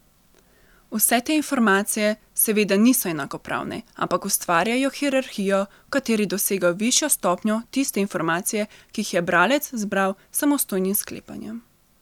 Vse te informacije seveda niso enakopravne, ampak ustvarjajo hierarhijo, v kateri dosegajo višjo stopnjo tiste informacije, ki jih je bralec zbral s samostojnim sklepanjem.